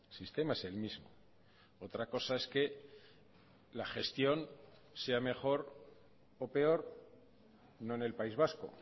sistema es el mismo otra cosa es que la gestión sea mejor o peor no en el país vasco